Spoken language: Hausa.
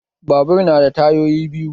Babur na da tayoyi biyu